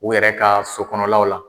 U yɛrɛ ka so kɔnɔlaw la.